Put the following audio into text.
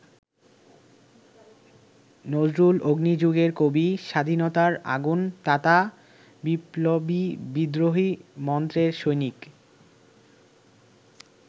নজরুল অগ্নিযুগের কবি, স্বাধীনতার আগুন-তাতা বিপ্লবী বিদ্রোহী মন্ত্রের সৈনিক।